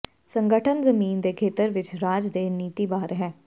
ਸੰਗਠਨ ਜ਼ਮੀਨ ਦੇ ਖੇਤਰ ਵਿੱਚ ਰਾਜ ਦੇ ਨੀਤੀ ਬਾਹਰ ਹੈ